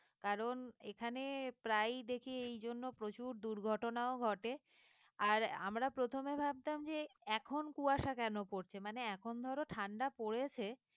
কারণ এখানে প্রায় দেখি এই জন্য প্রচুর দুর্ঘটনাও ঘটে আর আমরা প্রথমে ভাবতাম যে এখন কুয়াশা কেন পড়ছে মানে এখন ধরো ঠান্ডা পড়েছে